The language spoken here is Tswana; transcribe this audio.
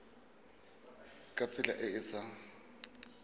ka tsela e e sa